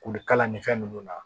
Kulu kala ni fɛn ninnu na